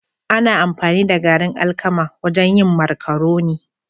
Ana amfani da garin alkama wajen yin marcaroni